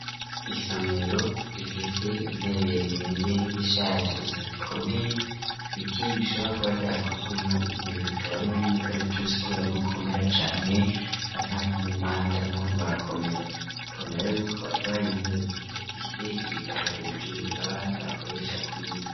Isomero zifise intebe zimeze nk'izishaje ,gusa zikomeye biti bishobora kuba vyarakuzwemwo intebe bikaba ari nk'umukaretusi, kubera abigukomera cane cankari nkumumanda naho norakomera ukabona rero ari intebe Zifise ibitabo hejuru ,abana bakoresha kwiga.